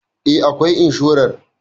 E, akwai insharar